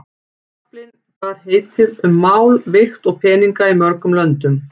Kaflinn bar heitið Um mál, vigt og peninga í mörgum löndum.